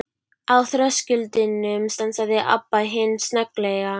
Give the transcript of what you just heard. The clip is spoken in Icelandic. Á þröskuldinum stansaði Abba hin snögglega.